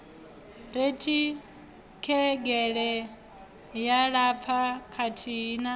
rekhithengele ya lapfa kathihi na